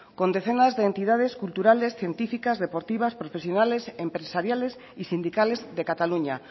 con decenas de entidad culturales científicas deportivas profesionales empresariales y sindicales de cataluña